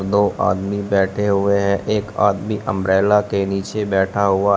दो आदमी बैठे हुए हैं एक आदमी अंब्रेला के नीचे बैठा हुआ--